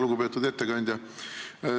Lugupeetud ettekandja!